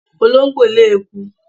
Olóńgbò lé eku.